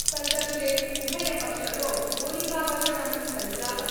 संघर्षे उभयपक्षतो गोलिकावर्षणं संजातम्।